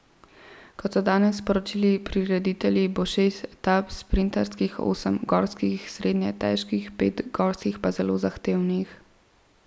Kot so danes sporočili prireditelji, bo šest etap sprinterskih, osem gorskih srednje težkih, pet gorskih pa zelo zahtevnih.